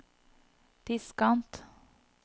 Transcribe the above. diskant